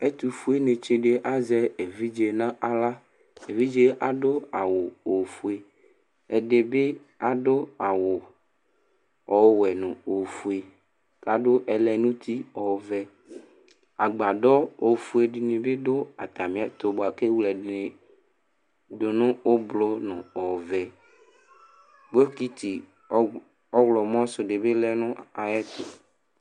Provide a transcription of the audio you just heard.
Ɛtu foe nɩ tsɩ ɖɩ azɛ eviɖze naɣla Eviɖze aɖu awu ofoe, ɛɖɩ bɩ aɖu awu ɔwɛ nu ofoe kaɖu ɛlɛnutɩ ɔvɛ Agbaɖɔ ofoe ɖɩnɩ bɩ ɖu atamɩ ɛtu buaku ewle ɛɖɩnɩ ɖu ublʊ nu ɔvɛ Bɔkɩtɩ ɔɣlɔ ɔɣlɔmɔ su ɖɩ bɩlɛ nu ayɛtu